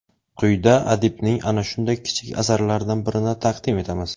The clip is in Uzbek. Quyida adibning ana shunday kichik asarlaridan birini taqdim etamiz.